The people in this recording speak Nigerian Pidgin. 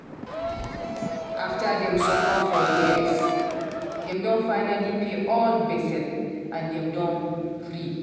after dem suffer for years dem don finally pay all gbese and dem don free